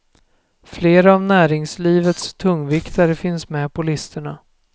Flera av näringslivets tungviktare finns med på listorna.